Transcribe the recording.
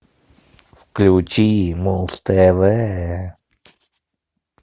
включи муз тв